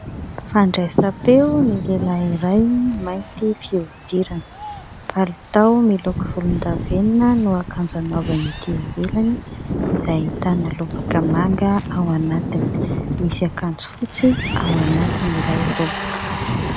Fandraisam-peo ny lehilahy iray mainty fihodirana, mipalitao miloko volondavenona no akanjo hanaovany ety ivelany, izay ahitana lobaka manga ao anatiny, misy akanjo fotsy ao anatiny ilay lobaka.